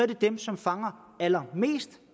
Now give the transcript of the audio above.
det dem som fanger allermest